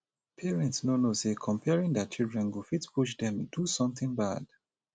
parents no know say comparing their children go fit push dem do something bad